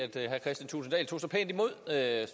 herre